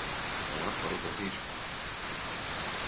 Það var bara út af því, sko!